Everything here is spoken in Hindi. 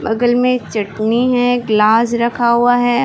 बगल में चटनी है। ग्लास रखा हुआ है।